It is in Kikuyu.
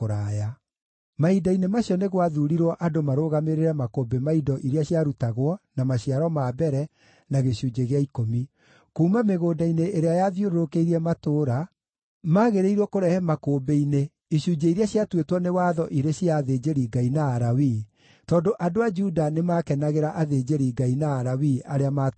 Mahinda-inĩ macio nĩ gwathuurirwo andũ marũgamĩrĩre makũmbĩ ma indo iria ciarutagwo, na maciaro ma mbere, na gĩcunjĩ gĩa ikũmi. Kuuma mĩgũnda-inĩ ĩrĩa yathiũrũrũkĩirie matũũra magĩrĩirwo kurehe makũmbĩ-inĩ icunjĩ iria ciatuĩtwo nĩ watho irĩ cia athĩnjĩri-Ngai na Alawii, tondũ andũ a Juda nĩmakenagĩra athĩnjĩri-Ngai na Alawii arĩa maatungataga.